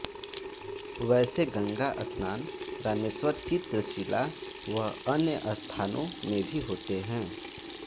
वैसे गंगास्नान रामेश्वर चित्रशिला व अन्य स्थानों में भी होते हैं